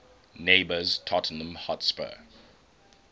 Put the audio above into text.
neighbours tottenham hotspur